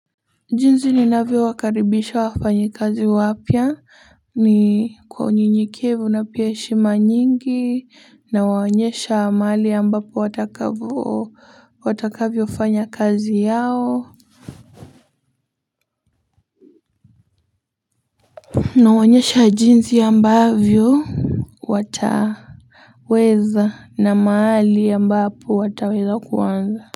Jinzi ni navyo wakaribisha wafanyi kazi wapya ni kwa unyenye kevu na pia heshima nyingi na waonyesha maali ambapo watakavoo watakavyo fanya kazi yao na waonyesha jinzi ambavyo wata weza na maali ambapo wataweza kuwanza.